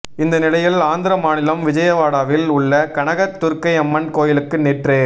இந்த நிலையில் ஆந்திர மாநிலம் விஜயவாடாவில் உள்ள கனக துர்க்கையம்மன் கோயிலுக்கு நேற்று